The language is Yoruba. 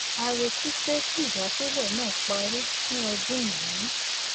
a retí pé kí ìdásílè náà parí ní ọdún yìí